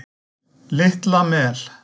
Litla Mel